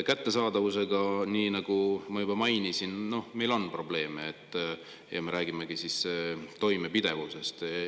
Kättesaadavusega, nii nagu ma juba mainisin, meil on probleeme ja me räägimegi toimepidevusest.